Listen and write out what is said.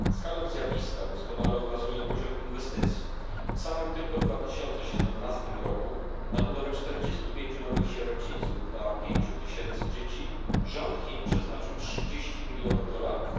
Skalę zjawiska doskonale obrazuje poziom inwestycji w samym tylko 2017 roku na budowę 45 nowych sierocińców dla 5 tysięcy dzieci rząd Chin przeznaczył 30 milionów dolarów.